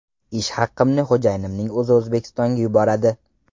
Ish haqimni xo‘jayinimning o‘zi O‘zbekistonga yuboradi.